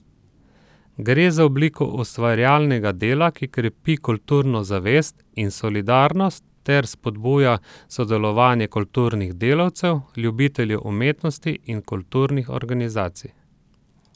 Gre za obliko ustvarjalnega dela, ki krepi kulturno zavest in solidarnost ter spodbuja sodelovanje kulturnih delavcev, ljubiteljev umetnosti in kulturnih organizacij.